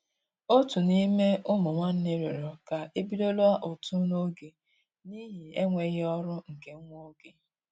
Òtù n'ime ụmụ nwánnè rịọrọ ká e bidola ụtụ n'oge n'ihi enweghị ọrụ nke nwa oge.